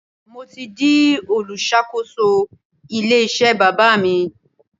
Mo ti di olùṣàkóso ilé iṣẹ́ bàbá mi.